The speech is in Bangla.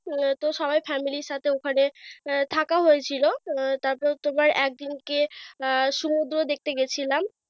আহ তো সবাই family এর সাথে ওখানে আহ থাকা হয়েছিল। তারপরে তোমার একদিনকে আহ সমুদ্র দেখতে গেছিলাম।